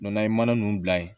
n'an ye mana nunnu bila yen